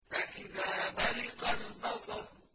فَإِذَا بَرِقَ الْبَصَرُ